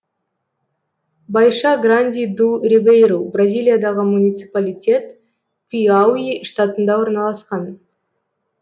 байша гранди ду рибейру бразилиядағы муниципалитет пиауи штатында орналасқан